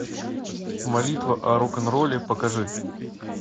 молитва о рок н ролле покажи